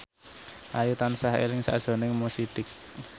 Ayu tansah eling sakjroning Mo Sidik